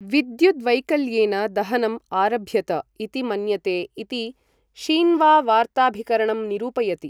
विद्युद्वैकल्येन दहनम् आरभ्यत इति मन्यते इति शीन्वा वार्ताभिकरणं निरूपयति।